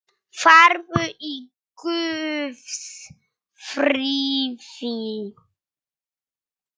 Farðu í Guðs friði.